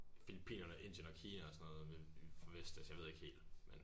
Filippinerne Indien og Kina og sådan noget for Vestas jeg ved ikke helt men